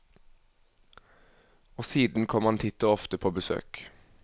Og siden kom han titt og ofte på besøk.